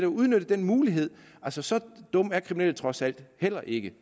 udnytte den mulighed så så dumme er kriminelle altså trods alt heller ikke